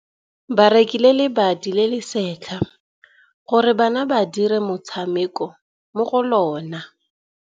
Ba rekile lebati le le setlha gore bana ba dire motshameko mo go lona.